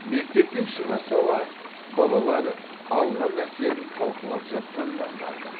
мектептен шыға сала балалар алған әсерін талқылап жатқанын аңғардық